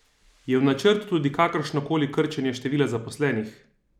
Je v načrtu tudi kakršno koli krčenje števila zaposlenih?